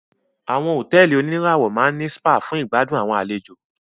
Àwọn hotẹ́ẹ́li oníràwọ̀ máa ní spa fún ìgbàdùn àwọn àlejò.